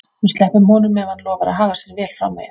Við sleppum honum ef hann lofar að haga sér vel framvegis.